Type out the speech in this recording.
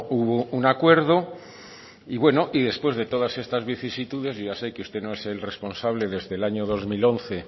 hubo un acuerdo y bueno y después de todas estas vicisitudes yo ya sé que usted no es el responsable desde el año dos mil once